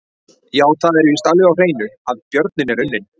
Já, það er víst alveg á hreinu að björninn er unninn!